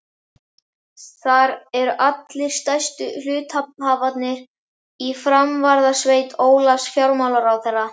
Þar eru allir stærstu hluthafarnir í framvarðarsveit Ólafs fjármálaráðherra.